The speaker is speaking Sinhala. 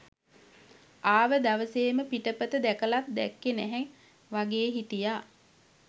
ආව දවසේම පිටපත දැකලත් දැක්කේ නැහැ වගේ හිටියා.